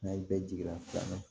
N'a ye bɛɛ jigi lafiyɛ